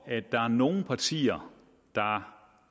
at der er nogle partier der